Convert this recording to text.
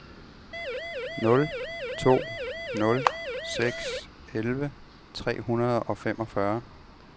nul to nul seks elleve tre hundrede og femogfyrre